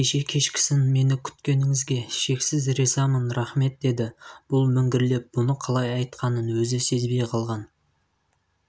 кеше кешкісін мені күткеніңізге шексіз ризамын рақмет деді бұл міңгірлеп бұны қалай айтқанын өзі сезбей қалған